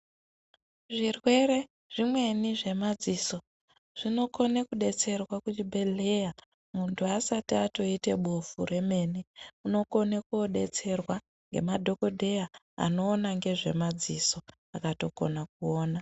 Zvirwere zvimweni zvemadziso zvinokone kudetserwa kuzvibhedhlera muntu asati atoite bofu remene unokone kodetserwa nemadhokodheya anoona ngezvemadziso akatokona kuona.